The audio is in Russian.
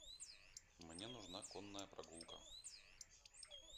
мне нужна конная прогулка